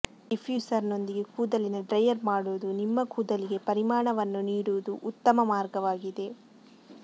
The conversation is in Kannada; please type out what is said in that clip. ಡಿಫ್ಯೂಸರ್ನೊಂದಿಗೆ ಕೂದಲಿನ ಡ್ರೈಯರ್ ಮಾಡುವುದು ನಿಮ್ಮ ಕೂದಲುಗೆ ಪರಿಮಾಣವನ್ನು ನೀಡುವ ಉತ್ತಮ ಮಾರ್ಗವಾಗಿದೆ